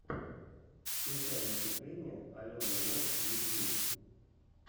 включай выступление алены лов ютьюб